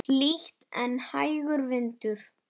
Hlýtt en hægur vindur.